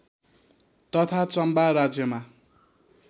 तथा चम्बा राज्यमा